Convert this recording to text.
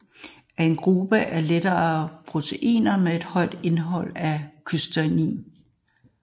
Metallothionein er en gruppe af lette proteiner med et højt indhold af cystein